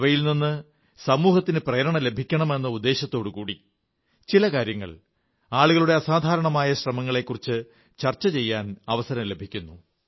അവയിൽനിന്ന് സമൂഹത്തിന് പ്രേരണ ലഭിക്കണം എന്ന ഉദ്ദേശ്യത്തോടുകൂടി ചില കാര്യങ്ങൾ ആളുകളുടെ അസാധാരണമായ ശ്രമങ്ങളെക്കുറിച്ച് ചർച്ച ചെയ്യാൻ അവസരം ലഭിക്കുന്നു